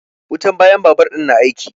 Wutan bayan babur ɗin na aiki.